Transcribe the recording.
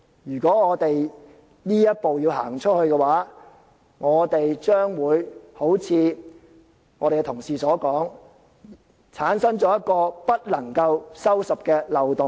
如果我們要走這一步的話，將會好像同事所說，會產生一個不能夠收拾的漏洞。